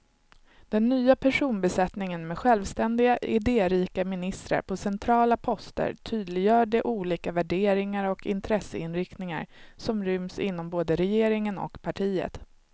Den nya personbesättningen med självständiga, idérika ministrar på centrala poster tydliggör de olika värderingar och intresseinriktningar som ryms inom både regeringen och partiet.